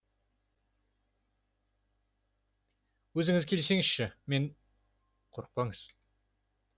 өзіңіз келсеңізші мен қорықпаңыз